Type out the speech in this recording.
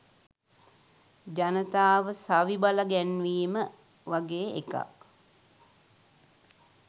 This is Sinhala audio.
"ජනතාව සවි බලගැන්වීම" වගේ එකක්.